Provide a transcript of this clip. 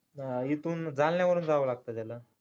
अं इथून जालन्यावरून जावं लागत त्याला